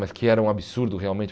Mas que era um absurdo realmente.